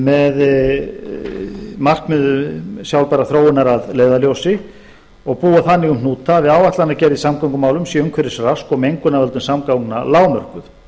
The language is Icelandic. með markmiðum sjálfbærrar þróunar að leiðarljósi og búa þannig um hnúta að við áætlanagerð í samgöngumálum sé umhverfisrask og mengun af völdum samgangna lágmörkuð